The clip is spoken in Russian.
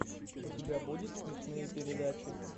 у тебя будет смешные передачи